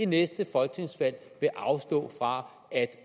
næste folketingsvalg vil afstå fra at